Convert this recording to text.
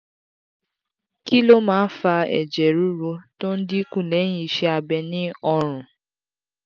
kí ló máa ń fa ẹ̀jẹ̀ ruru tó ń dín kù lẹ́yìn iṣẹ́ abẹ ni ọrùn?